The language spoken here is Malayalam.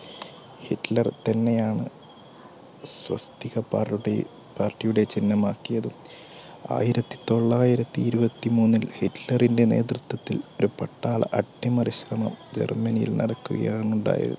പാർട്ടിയുടെ ചിഹ്നംആക്കിയതും. ആയിരത്തിത്തൊള്ളായിരത്തി ഇരുപത്തിമൂന്നിൽ സ്വിറ്റ്സറിന്റെ നേതൃത്വംത്തിൽഒരു പട്ടാള അട്ടിമറി ശ്രമം ജർമ്മനി യിൽ നടക്കുകയാണ് ഉണ്ടായത്